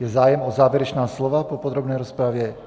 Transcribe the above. Je zájem o závěrečná slova po podrobné rozpravě?